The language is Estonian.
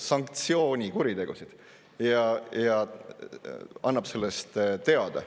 – sanktsioonikuritegusid, ja kui ta annab sellest teada.